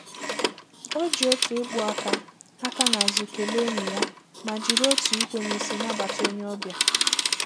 O ji otu ịkpụ aka aka n'azụ kelee enyi ya, ma jiri otu ikwe n'isi nabata onye ọbịa.